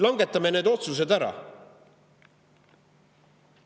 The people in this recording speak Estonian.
Langetame need otsused ära!